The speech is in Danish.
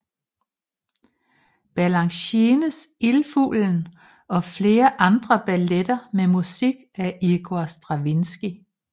Balanchines Ildfuglen og flere andre balletter med musik af Igor Stravinskij